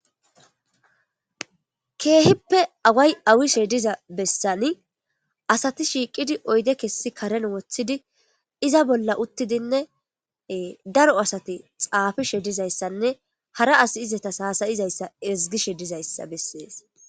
Keehippe away awiya bessani asati shiiqidi oyde kesi kareni wothidi iza bolla utidinne daro asati xaafishe dizaysanne hara assi izetas hasa''zaysa ezigishe dizaysa beses.